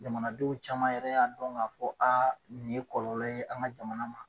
Jamanadenw caman yɛrɛ y'a dɔn kaa fɔ aa nin ye kɔlɔlɔ ye an ka jamana ma.